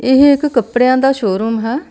ਇਹ ਇੱਕ ਕੱਪੜਿਆਂ ਦਾ ਸ਼ੋਰੂਮ ਹੈ।